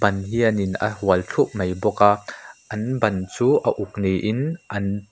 hian in a hual thup mai bawk a an ban chu a uk ni in an--